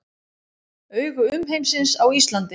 Augu umheimsins á Íslandi